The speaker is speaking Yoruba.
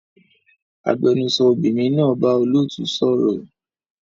Agbẹnusọ obìnrin náà bá olóòtú sọ̀rọ̀